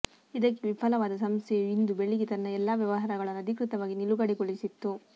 ಇದಕ್ಕೆ ವಿಫಲವಾದ ಸಂಸ್ಥೆಯು ಇಂದು ಬೆಳಿಗ್ಗೆ ತನ್ನ ಎಲ್ಲಾ ವ್ಯವಹಾರಗಳನ್ನು ಅಧಿಕೃತವಾಗಿ ನಿಲುಗಡೆಗೊಳಿಸಿತ್ತು